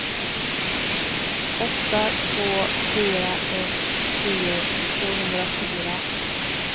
åtta två fyra ett tio tvåhundrafyra